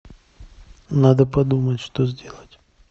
надо подумать что сделать